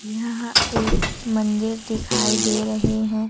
यह एक मन्दिर दिखाई दे रहे है।